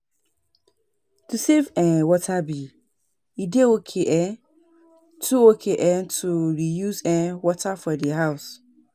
To save um water bill, e dey okay um to okay um to reuse um water for do house